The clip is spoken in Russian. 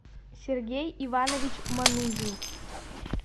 сергей иванович манузин